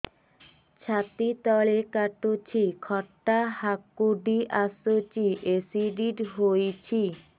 ଛାତି ତଳେ କାଟୁଚି ଖଟା ହାକୁଟି ଆସୁଚି ଏସିଡିଟି ହେଇଚି